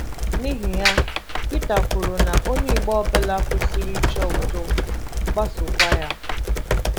N’ihi ya, Pita kwuru na onye Igbo ọbụla kwesịrị ‘ ịchọ udo, gbasookwa ya. ’